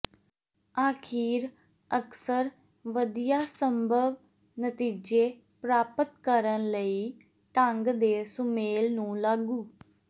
ਅਖੀਰ ਅਕਸਰ ਵਧੀਆ ਸੰਭਵ ਨਤੀਜੇ ਪ੍ਰਾਪਤ ਕਰਨ ਲਈ ਢੰਗ ਦੇ ਸੁਮੇਲ ਨੂੰ ਲਾਗੂ